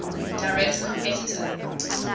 direct competitor